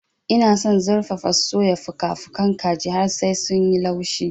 Ina son zurfafa-soya fuka-fukan kaji har sai sun yi laushi.